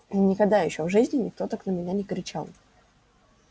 никогда ещё в жизни никто так на меня не кричал